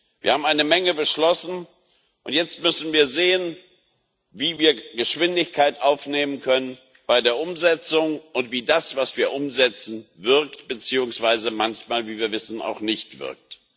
Wir haben eine Menge beschlossen, und jetzt müssen wir sehen, wie wir Geschwindigkeit bei der Umsetzung aufnehmen können und wie das, was wir umsetzen, wirkt beziehungsweise manchmal, wie wir wissen, auch nicht wirkt.